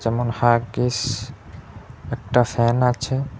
যেমন- হাগিস একটা ফ্যান আছে।